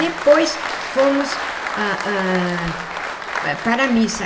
Depois fomos ah ah para a missa.